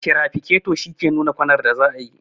tirafikato shi ke nuna kwanar da zatayi